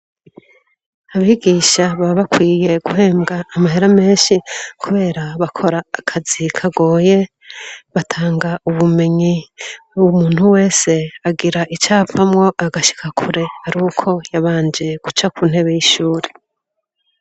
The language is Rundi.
Abigisha baba bakwiye guhembwa amahera menshi kubera bakora akazi kagoye. Batanga ubumenyi. Umuntu wese agira icavamwo agashika kure ari uko yabanje guca ku ntebe y'ishure.